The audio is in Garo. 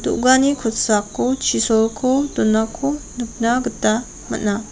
do·gani kosako chisolko donako nikna gita man·a.